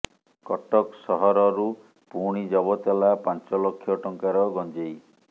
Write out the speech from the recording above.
କଟକ ସହରରୁ ପୁଣି ଜବତ ହେଲା ପାଞ୍ଚ ଲକ୍ଷ ଟଙ୍କାର ଗଞ୍ଜେଇ